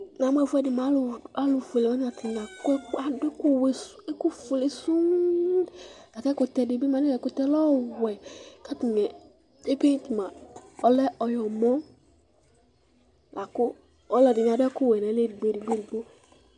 Namʋ ɛfʋɛdi alʋ fuele atani adʋ ɛkʋfuele sɔŋ lakʋ ɛkʋtɛ dibi ma ɛkʋtɛ lɛ ɔwɛ kʋ atani epent ma ɔlɛ ɔyɔmɔ lakʋ ɔlʋɛdini adʋ ɛkʋwɛ nʋ ayi edigbo edigbo